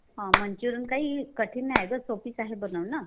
Manchurian काही कठीण नाही ग. सोपंच आहे बनवणं.